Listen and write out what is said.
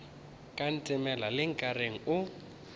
ka ntemela le nkareng o